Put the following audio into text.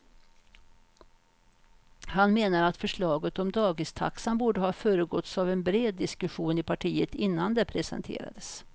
Han menar att förslaget om dagistaxan borde ha föregåtts av en bred diskussion i partiet innan det presenterades.